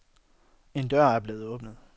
En dør er blevet åbnet.